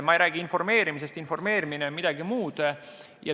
Ma ei räägi informeerimisest, informeerimine on midagi muud.